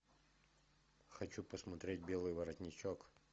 хочу посмотреть белый воротничок